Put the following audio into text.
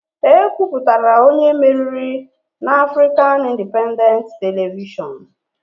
E kwupụtara onye meriri na Afrịkan Indipendentị Televishọnụ